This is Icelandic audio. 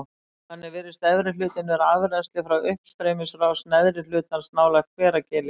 Þannig virðist efri hlutinn vera afrennsli frá uppstreymisrás neðri hlutans nálægt Hveragili.